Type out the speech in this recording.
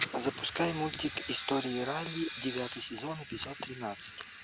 запускай мультик истории райли девятый сезон эпизод тринадцать